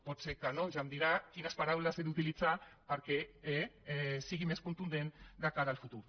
pot ser que no ja em dirà quines paraules he d’utilitzar perquè sigui més contundent de cara al futur